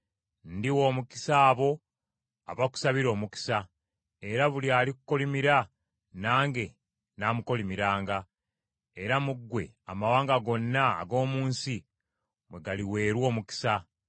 Ndiwa omukisa abo abakusabira omukisa, era buli alikukolimira nange namukolimiranga; era mu ggwe amawanga gonna ag’omu nsi mwe galiweerwa omukisa.”